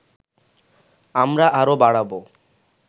আমরা আরও বাড়াবো